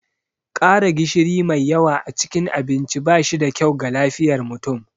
ƙara gishiri mai yawa cikin abinci ba shi da kyau ga lafiyar mutum